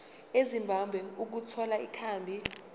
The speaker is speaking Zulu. ezimbabwe ukuthola ikhambi